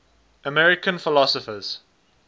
american philosophers